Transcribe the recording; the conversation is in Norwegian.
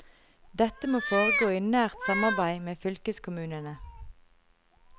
Dette må foregå i nært samarbeid med fylkeskommunene.